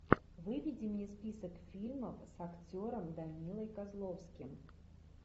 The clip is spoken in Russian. выведи мне список фильмов с актером данилой козловским